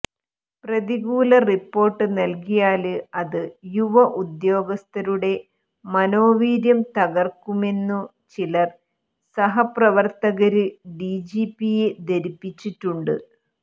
പ്രതികൂല റിപ്പോര്ട്ട് നല്കിയാല് അതു യുവ ഉദ്യോഗസ്ഥരുടെ മനോവീര്യം തകര്ക്കുമെന്നു ചില സഹപ്രവര്ത്തകര് ഡിജിപിയെ ധരിപ്പിച്ചിട്ടുണ്ട്